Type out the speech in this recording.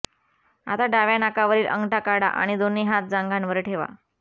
आता डाव्या नाकावरील अंगठा काढा आणि दोन्ही हात जांघांवर ठेवा